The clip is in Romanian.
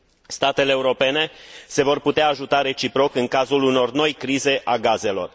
Statele europene se vor putea ajuta reciproc în cazul unor noi crize ale gazelor.